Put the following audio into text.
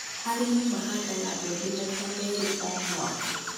arĩmi mahandaga mbembe maita meerĩ o mwaka